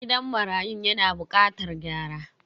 Gidan marayun yana bukatar gyara.